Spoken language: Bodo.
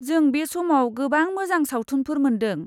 जों बे समाव गोबां मोजां सावथुनफोर मोनदों।